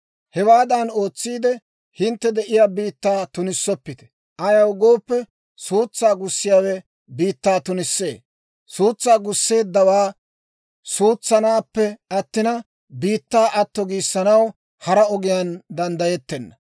« ‹Hewaadan ootsiide, hintte de'iyaa biittaa tunissoppite. Ayaw gooppe, suutsaa gussiyaawe biittaa tunissee; suutsaa gusseeddawaa suutsaanappe attina, biittaa atto giisanaw hara ogiyaan danddayettenna